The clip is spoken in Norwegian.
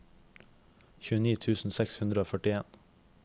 tjueni tusen seks hundre og førtien